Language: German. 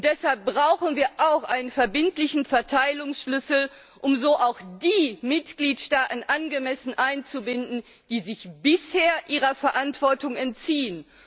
Deshalb brauchen wir auch einen verbindlichen Verteilungsschlüssel, um so auch die Mitgliedstaaten angemessen einzubinden, die sich bisher ihrer Verantwortung entziehen.